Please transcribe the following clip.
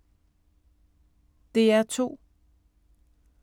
DR2